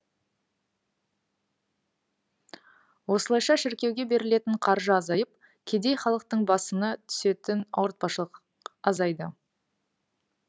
осылайша шіркеуге берілетін қаржы азайып кедей халықтың басыны түсетін ауртпашылық азайды